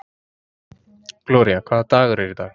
Gloría, hvaða dagur er í dag?